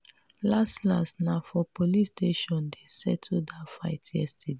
las las na for police station dem settle dat fight yesterday.